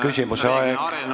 Küsimise aeg on läbi!